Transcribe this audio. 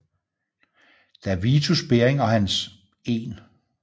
Da Vitus Bering og hans 1